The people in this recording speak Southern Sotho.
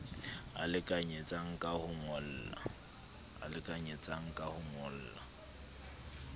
a lekanyetsang ka ho ngolla